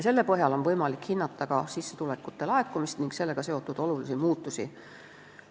Selle põhjal on võimalik hinnata ka sissetulekute laekumist ning sellega seotud olulisi muutusi.